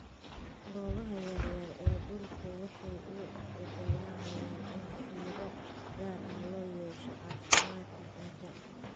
Goobaha yaryar ee dhulku waxay u oggolaanayaan in fiiro gaar ah loo yeesho caafimaadka ciidda.